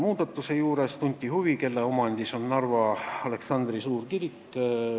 Veel tunti huvi, kelle omandis on Narva Aleksandri suurkirik.